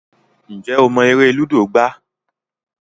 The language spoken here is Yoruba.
Njé o mo èrè ludo gbà?